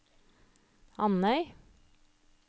Andøy